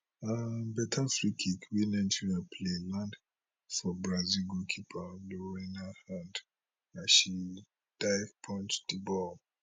um beta free kick wey nigeria play land for brazil goalkeeper lorena hand as she dive punch di ball